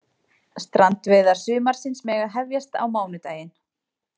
Strandveiðar sumarsins mega hefjast á mánudaginn